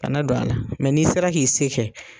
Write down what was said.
Kana don a la. n'i sera k'i se kɛ